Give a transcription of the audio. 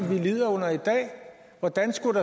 lider under i dag hvordan skulle